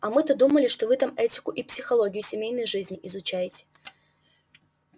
а мы-то думали что вы там этику и психологию семейной жизни изучаете